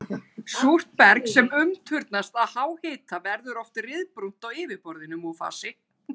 Súrt berg sem ummyndast af háhita verður oft ryðbrúnt á yfirborði.